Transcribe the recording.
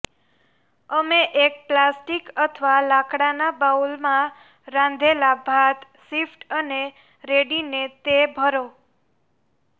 અમે એક પ્લાસ્ટિક અથવા લાકડાના બાઉલમાં રાંધેલા ભાત શિફ્ટ અને રેડીને તે ભરો